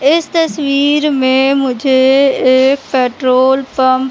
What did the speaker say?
इस तस्वीर में मुझे एक पेट्रोल पंप --